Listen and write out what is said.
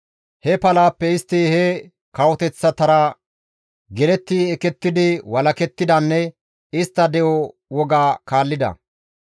He palaappe istti he kawoteththatara geletti ekettidi walakettidanne istta de7o woga kaallida.